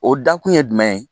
O dakun ye jumɛn ye